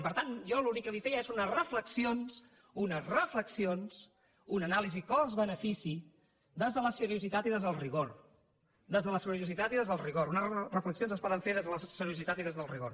i per tant jo l’únic que li feia són unes reflexions unes reflexions una anàlisi cost benefici des de la seriositat i des del rigor des de la seriositat i des del rigor unes reflexions es poden fer des de la seriositat i des del rigor